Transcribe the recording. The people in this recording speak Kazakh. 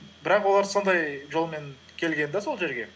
бірақ олар сондай жолмен келген де сол жерге